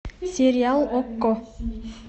сериал окко